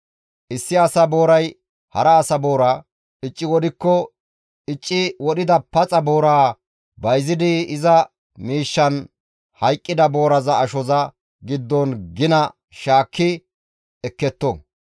«Issi asa booray hara asa boora icci wodhikko, icci wodhida paxa booraa bayzidi iza miishshanne hayqqida booraza ashoza giddon gina shaakki ekketto.